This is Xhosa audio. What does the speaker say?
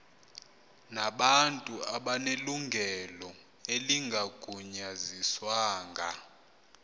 nabantu abanelungelo elingagunyaziswanga